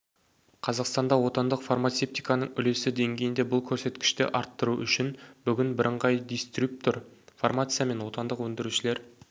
қазақстанда отандық фармацевтиканың үлесі деңгейінде бұл көрсеткішті арттыру үшін бүгін бірыңғай дистрибьютор фармация мен отандық өндірушілер